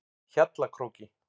Hjallakróki